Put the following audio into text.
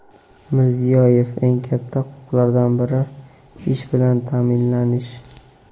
Mirziyoyev: "Eng katta huquqlardan biri – ish bilan ta’minlanish".